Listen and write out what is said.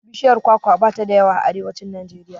Bishiyar kwaka bata da yawa a arewacin Najeriya.